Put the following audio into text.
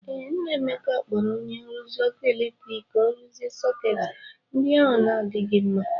Ee, nna Emeka kpọrọ onye nrụzi ọkụ eletrik ka o rụzie sọketị ndi ahụ na adịghị mma.